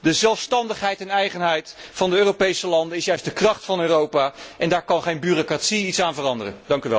De zelfstandigheid en eigenheid van de Europese landen is juist de kracht van Europa, en daar kan geen bureaucratie iets aan veranderen!